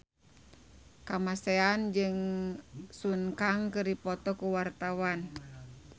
Kamasean jeung Sun Kang keur dipoto ku wartawan